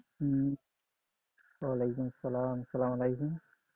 ওয়ালাইকুম সালাম, আসসালাম আলাইকুম।